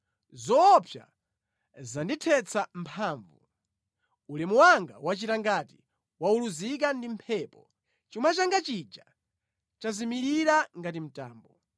Zoopsa zandithetsa mphamvu; ulemu wanga wachita ngati wauluzika ndi mphepo, chuma changa chija chazimirira ngati mtambo.